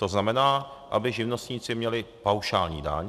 To znamená, aby živnostníci měli paušální daň.